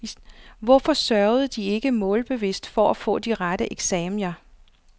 Hvorfor sørgede de ikke målbevidst for at få de rette eksaminer?